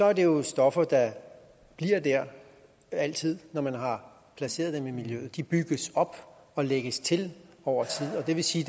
er det jo stoffer der bliver der altid når man har placeret dem i miljøet de bygges op og lægges til over tid og det vil sige